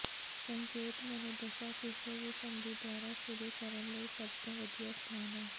ਸੰਕੇਤਕ ਮਨੋਦਸ਼ਾ ਕਿਸੇ ਵੀ ਸੰਧੀ ਦੁਆਰਾ ਸ਼ੁਰੂ ਕਰਨ ਲਈ ਸਭ ਤੋਂ ਵਧੀਆ ਸਥਾਨ ਹੈ